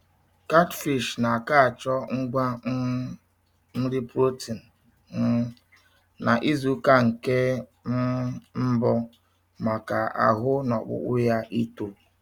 Katfish na aka achọ ngwa um nri protein um na izụka nke um mbu maka ahụ na ọkpụkpụ ya ịto